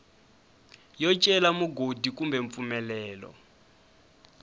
yo cela mugodi kumbe mpfumelelo